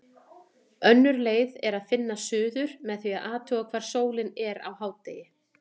Önnur leið er að finna suður með því að athuga hvar sólin er á hádegi.